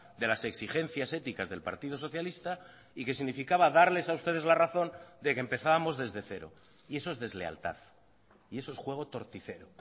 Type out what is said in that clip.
de las exigencias éticas del partido socialista y que significaba darles a ustedes la razón de que empezábamos desde cero y eso es deslealtad y eso es juego torticero